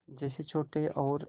जैसे छोटे और